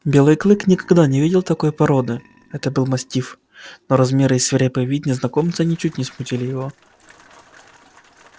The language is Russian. белый клык никогда не видел такой породы это был мастиф но размеры и свирепый вид незнакомца ничуть не смутили его